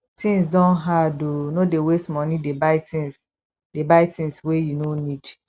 tins don hard o no dey waste moni dey buy tins dey buy tins wey you no need